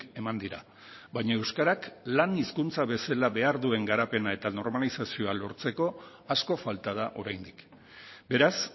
eman dira baina euskarak lan hizkuntza bezala behar duen garapena eta normalizazioa lortzeko asko falta da oraindik beraz